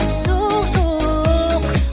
жоқ жоқ